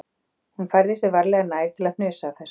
Hún færði sig varlega nær til að hnusa af þessu